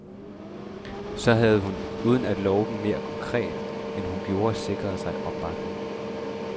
Så havde hun, uden at love dem mere konkret end hun gjorde, sikret sig opbakning.